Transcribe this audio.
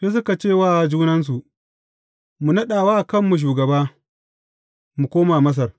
Sai suka ce wa junansu, Mu naɗa wa kanmu shugaba, mu koma Masar.